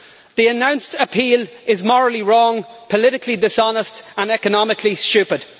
The announced appeal is morally wrong, politically dishonest and economically stupid.